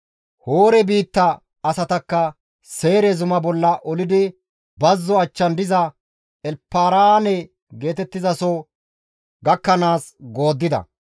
Hoore biitta asatakka Seyre zuma bolla olidi bazzo achchan diza Elparaane geetettizaso gakkanaas gooddida.